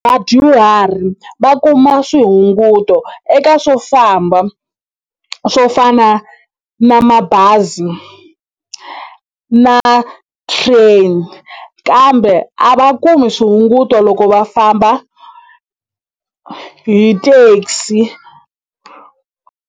Vadyuhari va kuma swihunguto eka swofamba swo fana na mabazi na train kambe a va kumi swihunguto loko va famba hi taxi.